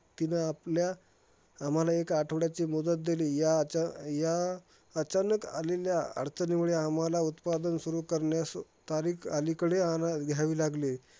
तीनं आपल्या आम्हाला एक आठवड्याची मुदत देली. या अचा या अचानक आलेल्या अडचणीमुळे आम्हाला उत्पादन सुरु करण्यास तारीख अलीकडे आणा घ्यावी लागली.